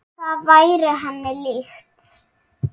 Það væri henni líkt.